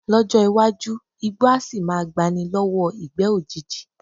Ló̩jó̩ iwájú, igbó á sì máa gba ni ló̩wó̩ ìgbé̩ òjijì